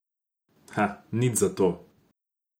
A nič zato.